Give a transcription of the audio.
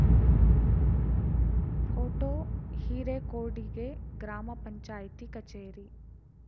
photo ಹಿರೇಕೊಡಿಗೆ ಗ್ರಾಮ ಪಂಚಾಯ್ತಿ ಕಚೇರಿ